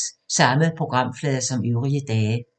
Samme programflade som øvrige dage